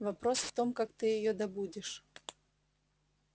вопрос в том как ты её добудешь